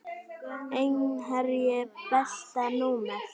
Einherji Besta númer?